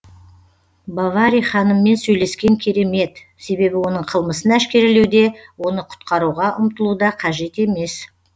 бовари ханыммен сөйлескен керемет себебі оның қылмысын әшкерелеуде оны құтқаруға ұмтылуда қажет емес